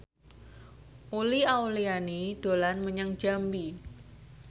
Uli Auliani dolan menyang Jambi